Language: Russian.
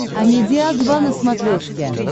амедиа два на смотрешке